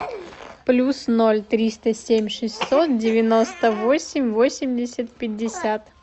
плюс ноль триста семь шестьсот девяносто восемь восемьдесят пятьдесят